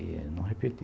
E não repeti.